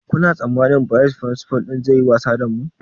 Kuna tsammanin bayis firinsifal ɗin zai yi wasa da mu?